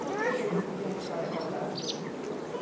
Por que que eles queriam que a senhora casasse com ele? Não sei...